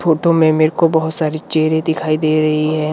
Photo में मेरे को बहुत सारी चेयर दिखाई दे रहे हैं।